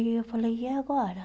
E eu falei, e agora?